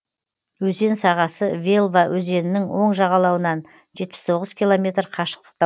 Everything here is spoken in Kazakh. өзен сағасы велва өзенінің оң жағалауынан жетпіс тоғыз километр қашықтықта